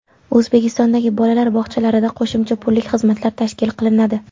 O‘zbekistondagi bolalar bog‘chalarida qo‘shimcha pullik xizmatlar tashkil qilinadi.